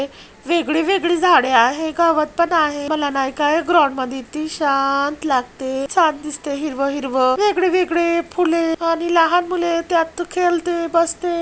वेगवेगळे झाड आहेत गवत पण आहे मला नही का ग्राउंड मध्ये किती शांत लागते वेगळे वेगळे फुलं आणि लहान मुलं त्यात खेळते बसते.